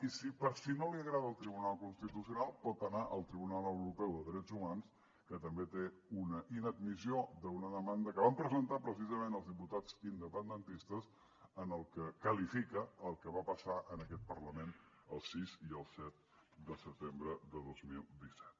i per si no li agrada el tribunal constitucional pot anar al tribunal europeu de drets humans que també té una inadmissió d’una demanda que van presentar precisament els diputats independentistes en la que qualifica el que va passar en aquest parlament el sis i el set de setembre de dos mil disset